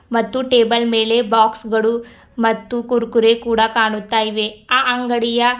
ಮತ್ತು ಟೇಬಲ್ ಮೇಲೆ ಬಾಕ್ಸ್ ಗಳು ಮತ್ತು ಕುರುಕುರೆ ಕೂಡ ಕಾಣುತ್ತಿವೆ ಅಂಗಡಿಯ --